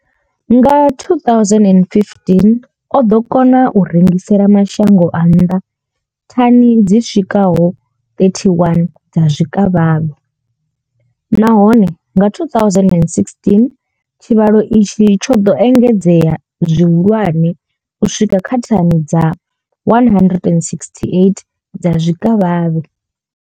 Nga 2015 o ḓo kona u rengisela mashango a nnḓa thani dzi swikaho 31 dza zwikavhavhe nahone nga 2016 tshivhalo itshi tsho ḓo engedzea zwihulwane u swika kha thani dza 168 dza zwikavhavhe.